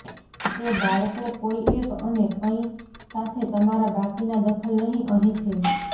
તે બાળકો કોઈ એક અને કંઈ સાથે તમારા બાકીના દખલ નહીં અહીં છે